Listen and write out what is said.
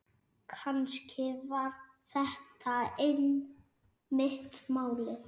Kannski var þetta einmitt málið.